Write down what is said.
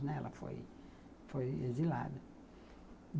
Né, ela foi foi exilada.